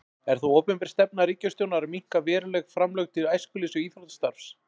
Er það opinber stefna ríkisstjórnar að minnka verulega framlög til æskulýðs- og íþróttastarfs?